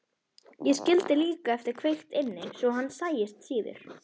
Ég skildi líka eftir kveikt inni svo hann sæist síður.